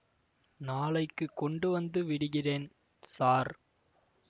நாளைக்கு கொண்டு வந்து விடுகிறேன் ஸார்